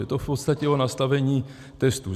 Je to v podstatě o nastavení testů.